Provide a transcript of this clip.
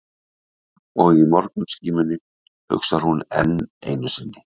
Og í morgunskímunni hugsar hún enn einu sinni